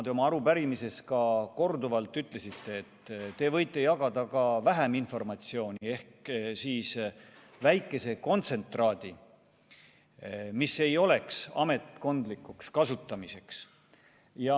Te oma vastustes ka korduvalt ütlesite, et te võite jagada ka vähem informatsiooni ehk siis väikese kontsentraadi, mis ei oleks ametkondlikuks kasutamiseks.